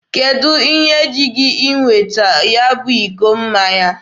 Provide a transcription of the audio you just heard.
Kedụ ihe ji gị iweta ya bụ iko mmanya?